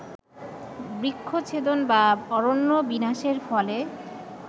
বৃক্ষছেদন বা অরণ্য বিনাশের ফলে